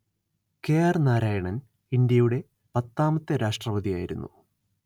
കെ_letter ആർ_letter നാരായണൻ ഇന്ത്യയുടെ പത്താമത്തെ രാഷ്ട്രപതിയായിരുന്നു